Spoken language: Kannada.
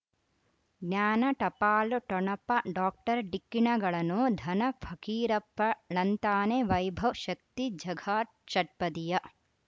ಜ್ಞಾನ ಟಪಾಲು ಠೊಣಪ ಡಾಕ್ಟರ್ ಢಿಕ್ಕಿ ಣಗಳನು ಧನ ಫಕೀರಪ್ಪ ಳಂತಾನೆ ವೈಭವ್ ಶಕ್ತಿ ಝಗಾ ಷಟ್ಪದಿಯ